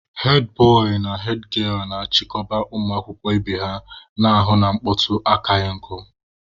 hedbọị na hedgielụ na-achịkọba ụmụ akwụkwọ ibe ha, na-ahụ na mkpọtụ akaghị nkụ.